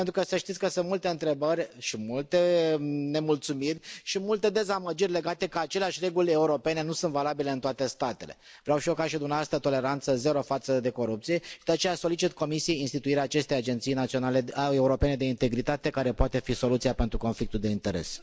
Pentru că să știți că sunt multe întrebări și multe nemulțumiri și multe dezamăgiri legate de faptul că aceleași reguli europene nu sunt valabile în toate statele. Vreau și eu ca și dumneavoastră toleranță zero față de corupție și de aceea solicit Comisiei instituirea acestei agenții europene de integritate care poate fi soluția pentru conflictul de interese.